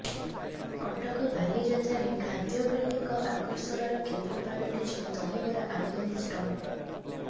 କଟକ ବାଲିଯାତ୍ରାରେ ଖାଦ୍ୟ ପ୍ରେମୀଙ୍କ ଆକର୍ଷଣର କେନ୍ଦ୍ର ପାଲଟିଛି ଦହିବରା ଆଳୁଦମ୍ ଷ୍ଟଲ୍